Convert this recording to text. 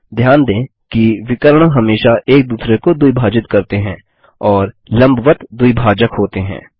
ध्यान दें कि विकर्ण हमेशा एक दूसरे को द्विभाजित करते हैं और लम्बवत्त द्विभाजक होते हैं